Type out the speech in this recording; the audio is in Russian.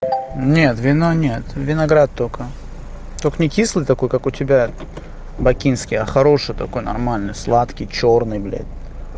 нет вино нет виноград только только некислый такой как у тебя бакинский я хороший такой нормальный сладкий чёрный блять